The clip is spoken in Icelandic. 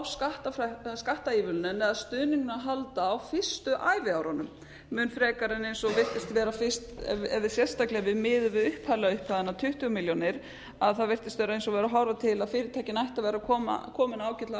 skattaívilnuninni eða stuðningnum að halda á fyrstu æviárunum mun frekar en virtist vera fyrst ef við sérstaklega miðum við upphaflegu upphæðina tuttugu milljónir þá virtist vera eins og væri verið að horfa til að fyrirtækin ættu að vera komin ágætlega